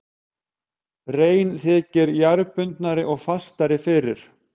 Rein þykir jarðbundnari og fastari fyrir.